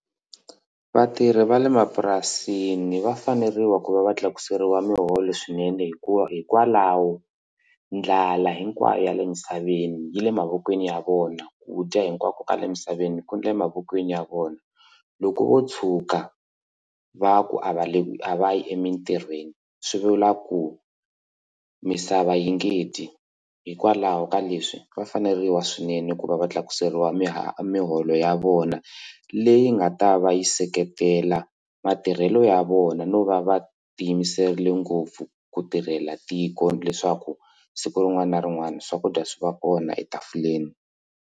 Vatirhi va le mapurasini va faneriwa ku va va tlakuseriwa muholo swinene hikuva hikwalaho ndlala hinkwayo yale emisaveni yi le mavokweni ya vona ku dya hinkwako kale emisaveni ku na le mavokweni ya vona loko vo tshuka va ku a va le a va yi emitirhweni swi vula ku misava yi nge dyi hikwalaho ka leswi va faneriwa swinene ku va va tlakuseriwa muholo ya vona leyi nga ta va yi seketela matirhelo ya vona no va va ti yimiserile ngopfu ku tirhela tiko leswaku siku rin'wana na rin'wana swakudya swi va kona etafuleni.